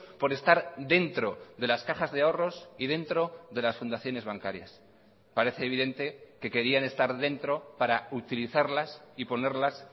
por estar dentro de las cajas de ahorros y dentro de las fundaciones bancarias parece evidente que querían estar dentro para utilizarlas y ponerlas